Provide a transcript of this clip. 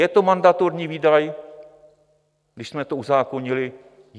Je to mandatorní výdaj, když jsme to uzákonili?